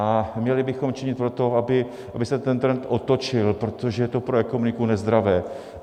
A měli bychom činit pro to, aby se ten trend otočil, protože to je pro ekonomiku nezdravé.